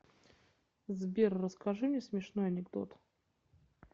сбер расскажи мне смешной анекдот